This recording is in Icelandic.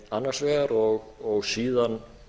annars vegar og síðan